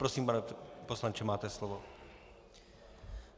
Prosím, pane poslanče, máte slovo.